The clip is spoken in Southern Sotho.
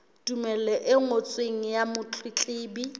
tumello e ngotsweng ya motletlebi